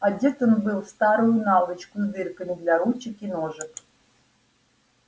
одет он был в старую наволочку с дырками для ручек и ножек